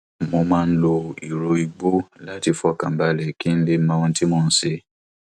mo máa n lo ìró igbó láti fọkàn balẹ kí n lè mọ ohun tí mo ń ṣe